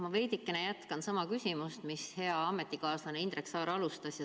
Ma veidikene jätkan sama küsimust, millega hea ametikaaslane Indrek Saar alustas.